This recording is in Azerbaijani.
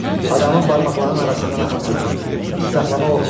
Adamın barmaqlarının arasından axıb tökülür, saxlamaq olmur.